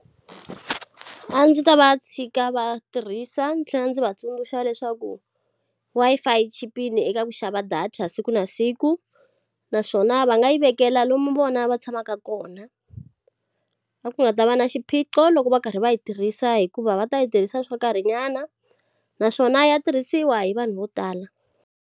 A ndzi ta va tshika va tirhisa ndzi tlhela ndzi va tsundzuxa leswaku Wi-Fi yi chipile eka ku xava data siku na siku naswona va nga yi vekela lomu vona va tshamaka kona. A ku nga ta va na xiphiqo loko va karhi va yi tirhisa hikuva va ta yi tirhisa swo karhi nyana, naswona ya tirhisiwa hi vanhu vo tala.